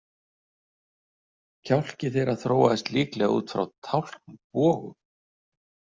Kjálki þeirra þróaðist líklega út frá tálknbogum.